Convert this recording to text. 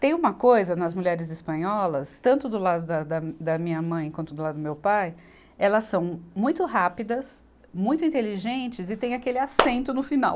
Tem uma coisa nas mulheres espanholas, tanto do lado da, da, da minha mãe quanto do lado do meu pai, elas são muito rápidas, muito inteligentes e tem aquele acento no final.